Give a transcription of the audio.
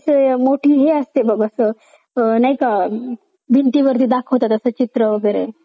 असं मोठी हे असते बघ असं नाही का भिंतीवरती दाखवतात असं चित्र वगैरे